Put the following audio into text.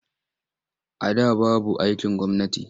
A da babu aikin gwamnati.